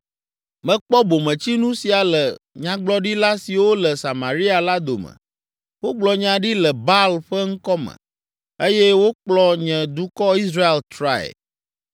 “Mekpɔ bometsinu sia le nyagblɔɖila siwo le Samaria la dome. Wogblɔ nya ɖi le Baal ƒe ŋkɔ me eye wokplɔ nye dukɔ Israel trae.